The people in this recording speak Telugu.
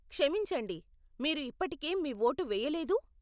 క్షమించండి, మీరు ఇప్పటికే మీ ఓటు వెయ్యలేదూ?